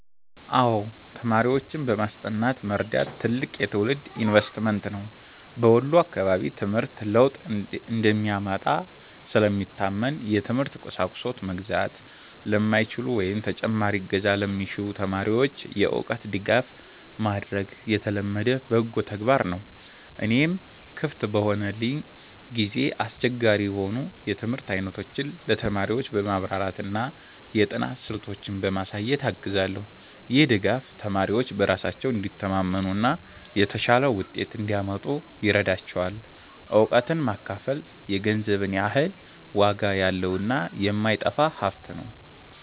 አዎ፣ ተማሪዎችን በማስጠናት መርዳት ትልቅ የትውልድ ኢንቨስትመንት ነው። በወሎ አካባቢ ትምህርት ለውጥ እንደሚያመጣ ስለሚታመን፣ የትምህርት ቁሳቁስ መግዛት ለማይችሉ ወይም ተጨማሪ እገዛ ለሚሹ ተማሪዎች የእውቀት ድጋፍ ማድረግ የተለመደ በጎ ተግባር ነው። እኔም ክፍት በሆነልኝ ጊዜ አስቸጋሪ የሆኑ የትምህርት አይነቶችን ለተማሪዎች በማብራራትና የጥናት ስልቶችን በማሳየት አግዛለሁ። ይህ ድጋፍ ተማሪዎች በራሳቸው እንዲተማመኑና የተሻለ ውጤት እንዲያመጡ ይረዳቸዋል። እውቀትን ማካፈል የገንዘብ ያህል ዋጋ ያለውና የማይጠፋ ሀብት ነው።